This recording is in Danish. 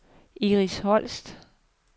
Iris Holst